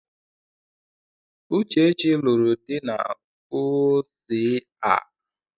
Uchechi lụrụ di na U.S.A